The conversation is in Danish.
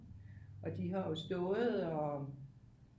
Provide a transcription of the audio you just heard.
Og de har jo stået og